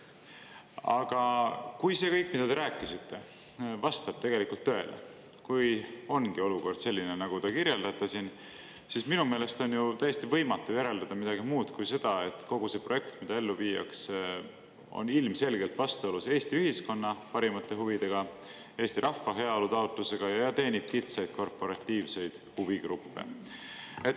Aga kui see kõik, mida te rääkisite, vastab tõele, kui ongi olukord selline, nagu te kirjeldate, siis minu meelest on täiesti võimatu järeldada midagi muud kui seda, et kogu see projekt, mida ellu viiakse, on ilmselgelt vastuolus Eesti ühiskonna parimate huvidega, Eesti rahva heaolu taotlusega ja teenib kitsaid korporatiivsed huvigruppe.